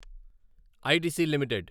ITC limited